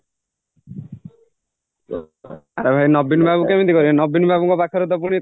ଆରେ ଭାଇ ନବୀନ ବାବୁ କେମିତି କହିବେ ନବୀନ ବାବୁଙ୍କ ପାଖରେତ ପୁଣି